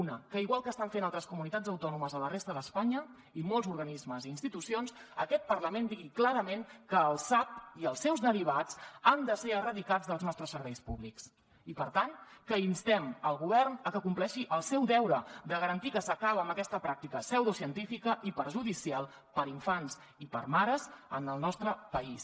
una que igual que estan fent altres comunitats autònomes a la resta d’espanya i molts organismes i institucions aquest parlament digui clarament que el sap i els seus derivats han de ser erradicats dels nostres serveis públics i per tant que instem el govern a que compleixi el seu deure de garantir que s’acaba amb aquesta pràctica pseudocientífica i perjudicial per a infants i per a mares en el nostre país